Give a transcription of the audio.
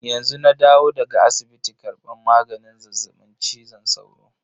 Yanzu na dawo daga asibiti karban maganin zazzaɓin cizon sauro.